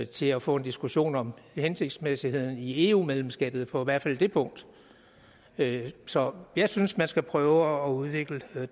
til at få en diskussion om hensigtsmæssigheden i eu medlemskabet på i hvert fald det punkt så jeg synes man skal prøve at udvikle det